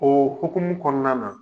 O hkumu kɔnɔna na